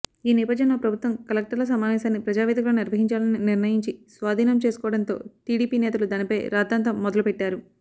ఈ నేపథ్యంలో ప్రభుత్వం కలెక్టర్ల సమావేశాన్ని ప్రజావేదికలో నిర్వహించాలని నిర్ణయించి స్వాధీనం చేసుకోవడంతో టీడీపీ నేతలు దానిపై రాద్ధాంతం మొదలుపెట్టారు